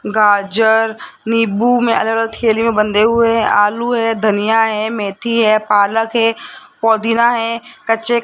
गाजर नींबू में अलग अलग थैले में बंधे हुए आलू है धनिया है मेथी है पालक है पुदीना है कच्चे --